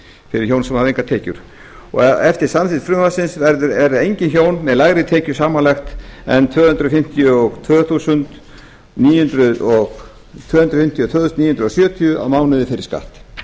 fyrir hjón sem hafa engar tekjur eftir samþykkt frumvarpsins verða engin hjón með lægri tekjur samanlagt en tvö hundruð fimmtíu og tvö þúsund níu hundruð sjötíu krónur á mánuði fyrir skatt